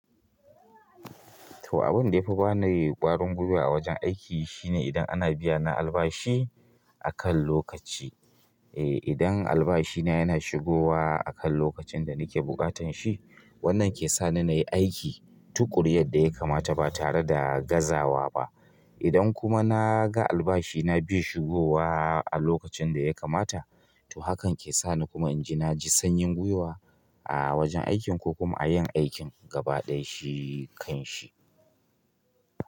To abin da yafi bani ƙwarin gwiwa a wajen aiki shine idan ana biyana albashi akan lokaci. Eh idan albashina yana shigowa akan lokacin da nake buƙatan shi, wannan ke sani nayi aiki tuƙuru yadda ya kamata ba tare da gazawa ba. Idan kuma na ga albashina bai shigowa a lokacin da ya kamata, to hakan ke sa ni kuma inji na ji sanyin gwiwa a wajen aikin ko kuma a yin aikin gabaɗaya shi kan shi.